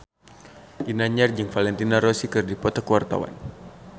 Ginanjar jeung Valentino Rossi keur dipoto ku wartawan